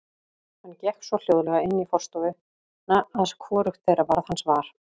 Hann gekk svo hljóðlega inn í forstofuna að hvorugt þeirra varð hans var.